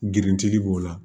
Grinti b'o la